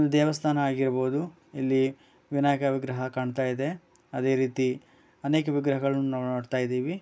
ದೇವಸ್ಥಾನ ಆಗಿರಬಹುದು. ಇಲ್ಲಿ ವಿನಾಯಕ ವಿಗ್ರಹ ಕಾಣಿತಾ ಇದೆ. ಅದೇ ರೀತಿ ಅನೇಕ ವಿಗ್ರಹಗಳನ್ನು ನಾವು ನೋಡ್ತಾ ಇದ್ದೀವಿ.